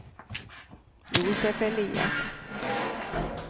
Josef Eliasson